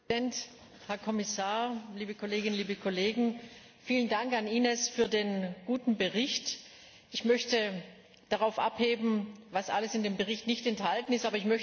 Herr Präsident, Herr Kommissar, liebe Kolleginnen und Kollegen! Vielen Dank an Inésefür den guten Bericht. Ich möchte darauf abheben, was alles in dem Bericht nicht enthalten ist.